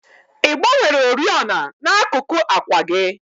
Ị gbanwere oriọna n'akuku àkwà gị?